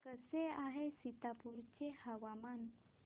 कसे आहे सीतापुर चे हवामान